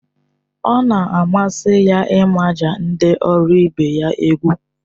Ọ na-amasị ya ịmaja ndị ọrụ ibe ya egwu